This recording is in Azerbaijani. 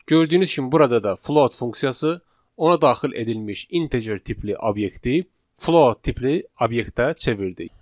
Gördüyünüz kimi burada da float funksiyası ona daxil edilmiş integer tipli obyekti float tipli obyektə çevirdi.